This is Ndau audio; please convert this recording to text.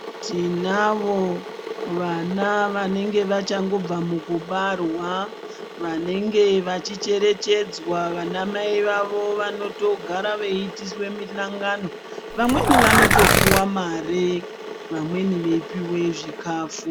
Tinavo vana vanenge vachangobva mukubarwa vanenge vachicherechedzwa vana mai vavo vanotogara veiitiswe muhlangano. Vamweni vanotopuva mare vamweni veipive zvikafu.